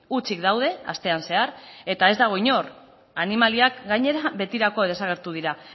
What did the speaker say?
hutsik daude astean zehar eta ez dago inor animaliak gainera betirako desagertu dira